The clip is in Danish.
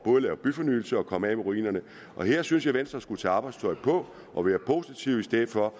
at lave byfornyelse og komme af med ruinerne her synes jeg at venstre skulle tage arbejdstøjet på og være positive i stedet for